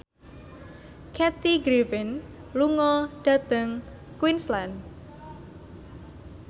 Kathy Griffin lunga dhateng Queensland